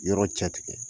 Yɔrɔ cɛ tigɛ